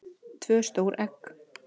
tvö stór egg